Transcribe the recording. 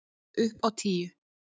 Upp á tíu!